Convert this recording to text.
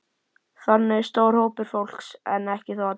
Þannig er stór hópur fólks, en ekki þó allir.